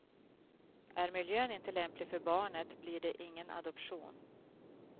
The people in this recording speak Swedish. Är miljön inte lämplig för barnet blir det ingen adoption.